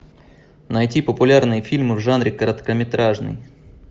найти популярные фильмы в жанре короткометражный